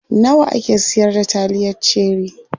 Nawa ake siyar da taliyar cherie?